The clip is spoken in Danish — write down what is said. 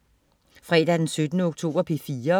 Fredag den 17. oktober - P4: